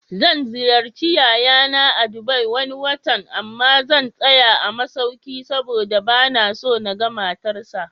Zan ziyarci yayana a Dubai Wani watan, amma zan tsaya a masauki saboda banaso naga matar sa